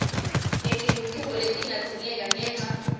ngetingucuko letingadzingeka ngenca